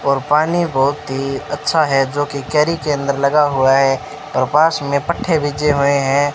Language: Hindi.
और पानी बहुत ही अच्छा है जोकि केरी के अंदर लगा हुआ है और पास में पट्ठे भीजे हुए हैं।